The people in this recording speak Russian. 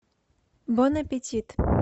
бон аппетит